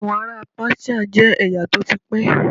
Àwọn ará Páṣíà jẹ́ ẹ̀yà tó ti pẹ́.